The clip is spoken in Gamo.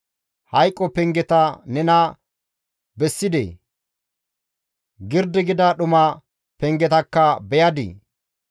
Hayqo pengeta nena bessidee? Girdi gida dhuma pengetakka beyadii?